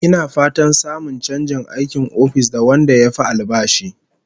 Ina fatan samun chanjin aikin ofis da wanda yafi albashi